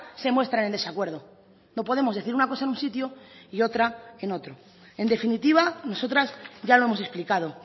se muestran en desacuerdo no podemos decir una cosa en un sitio y otra en otro en definitiva nosotras ya lo hemos explicado